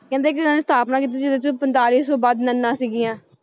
ਕਹਿੰਦੇ ਕਿ ਇਹਨਾਂ ਨੇ ਸਥਾਪਨਾ ਕੀਤੀ ਜਿਹਦੇ 'ਚ ਪਤਾਲੀ ਸੌ ਵੱਧ ਨੱਨਾਂ ਸੀਗੀਆਂ।